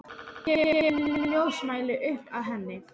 Kemur með ljósmæli upp að henni.